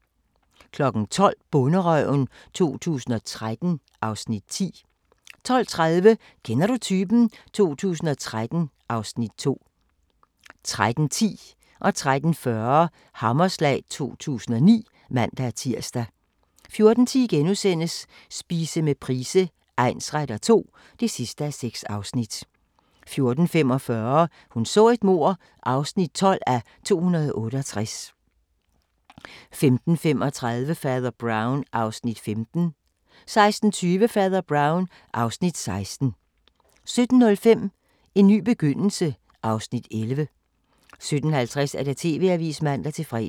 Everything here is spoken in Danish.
12:00: Bonderøven 2013 (Afs. 10) 12:30: Kender du typen? 2013 (Afs. 2) 13:10: Hammerslag 2009 (man-tir) 13:40: Hammerslag 2009 (man-tir) 14:10: Spise med Price egnsretter II (6:6)* 14:45: Hun så et mord (12:268) 15:35: Fader Brown (Afs. 15) 16:20: Fader Brown (Afs. 16) 17:05: En ny begyndelse (Afs. 11) 17:50: TV-avisen (man-fre)